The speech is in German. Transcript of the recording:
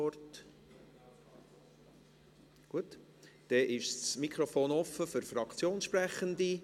– Dann ist das Mikrofon offen für Fraktionssprechende.